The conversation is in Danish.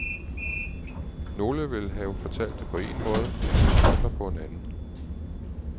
Nogle vil have det fortalt på én måde, andre på en anden.